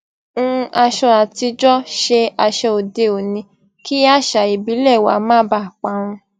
hun aṣọ àtijó ṣe aṣọ òdeòní kí àṣà ìbílè wa má baà parun